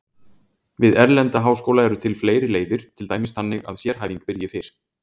Við erlenda háskóla eru til fleiri leiðir, til dæmis þannig að sérhæfing byrji fyrr.